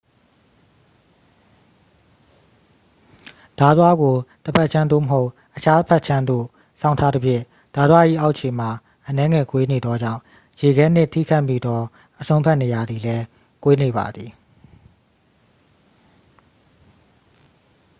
ဓားသွားကို တစ်ဖက်ခြမ်း သို့မဟုတ် အခြားဖက်ခြမ်းသို့ စောင်းထားသဖြင့် ဓားသွား၏အောက်ခြေမှာ အနည်းငယ်ကွေးနေသောကြောင့် ရေခဲနှင့်ထိခတ်မိသောအစွန်းဘက်နေရာသည်လည်း ကွေးနေပါသည်